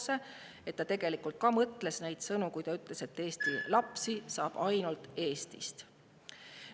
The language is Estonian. Usun, et ta tegelikult mõtles neid sõnu, kui ütles, et Eesti lapsi saab ainult Eestist.